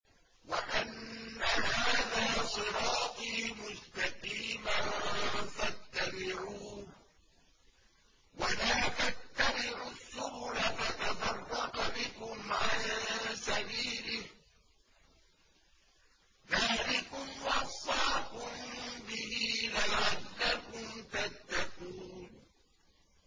وَأَنَّ هَٰذَا صِرَاطِي مُسْتَقِيمًا فَاتَّبِعُوهُ ۖ وَلَا تَتَّبِعُوا السُّبُلَ فَتَفَرَّقَ بِكُمْ عَن سَبِيلِهِ ۚ ذَٰلِكُمْ وَصَّاكُم بِهِ لَعَلَّكُمْ تَتَّقُونَ